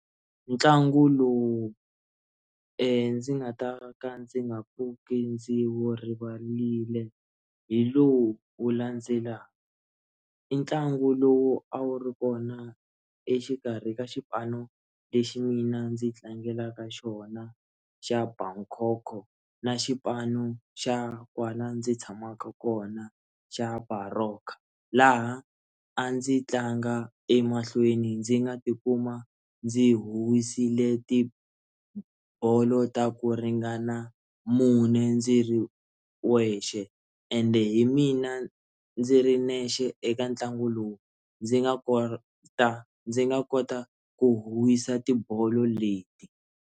Ntlangu lowu ndzi nga ta ka ndzi nga pfuki ndzi wu rivarile hi lowu wu landzela i ntlangu lowu a wu ri kona exikarhi ka xipano lexi mina ndzi tlangelaka xona xa Bangkok na xipano xa kwala ndzi tshamaka kona xa Baroka laha a ndzi tlanga emahlweni ndzi nga tikuma ndzi huwisile ti bolo ta ku ringana mune ndzi ri wexe ende hi mina ndzi ri nexe eka ntlangu lowu ndzi nga kota ndzi nga kota ku huwisa tibolo leti.